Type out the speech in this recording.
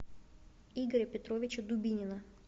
игоря петровича дубинина